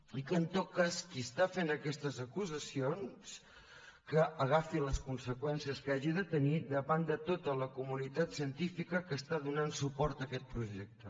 i que en tot cas qui està fent aquestes acusacions que agafi les conseqüències que hagi de tenir davant de tota la comunitat científica que està donant suport a aquest projecte